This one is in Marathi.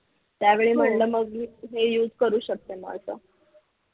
त्यावेळी म्हटलं मी हे use करू शकते म असं